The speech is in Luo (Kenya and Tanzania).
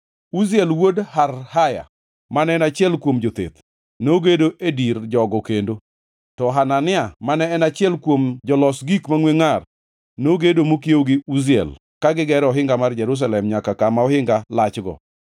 Uziel wuod Harhaya mane en achiel kuom jotheth, nogedo e dir jogo kendo; to Hanania, mane en achiel kuom jolos gik mangʼwe ngʼar, nogedo mokiewo gi Uziel ka gigero ohinga mar Jerusalem nyaka kama ohinga lachgo.